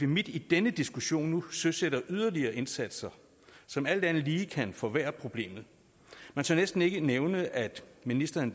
midt i denne diskussion nu søsætter yderligere indsatser som alt andet lige kan forværre problemet man tør næsten ikke nævne at ministeren